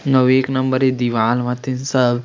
एक नंबर ये दीवार हथीन सब --